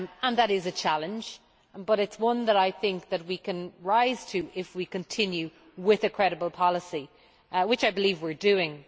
That is a challenge, but it is one that I think we can rise to if we continue with a credible policy, which I believe we are doing.